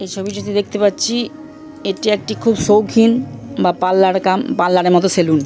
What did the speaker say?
এই ছবিটিতে দেখতে পাচ্ছি এটি একটি খুব সৌখিন বা পার্লার কাম পার্লার এর মত সেলুন ।